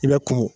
I bɛ kun